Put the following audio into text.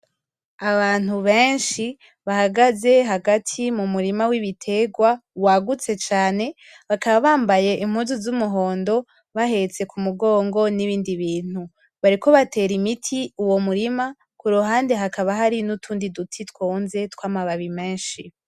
Abantu benshi bahagaze hagati mumurima w'ibiterwa wagutse cane bakaba bambaye impuzu z'umuhondo bahetse k'umugongo n'ibindi bintu .bariko batera imiti uwo murima kuruhande hakaba hariho n’utundi duti twonze tw'amababi menshi.